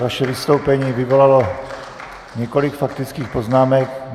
Vaše vystoupení vyvolalo několik faktických poznámek.